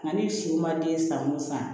Nka ni si ma den san o san